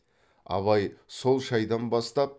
абай сол шайдан бастап